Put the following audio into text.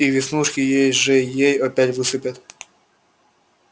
и веснушки ей-же-ей опять высыпят